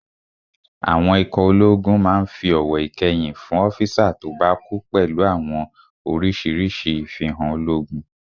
Àwọn ikọ̀ ológun máa n fi ọ̀wọ̀ ìkẹyìn fún ọ́físà tó bá kú pẹ̀lú àwọn orísirísi ifihan ológun